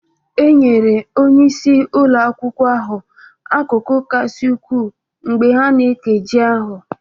E nyere onye isi ụlọ akwụkwọ ahụ akụkụ kasị ukwuu mgbe ha na-eke ji ahụ